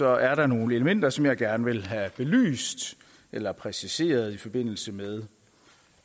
er der nogle elementer som jeg gerne vil have belyst eller præciseret i forbindelse med